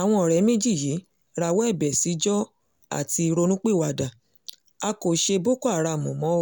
àwọn ọ̀rẹ́ méjì yìí rawọ́ ẹ̀bẹ̀ síjọ a ti ronúpìwàdà a kò ṣe boko haram mọ́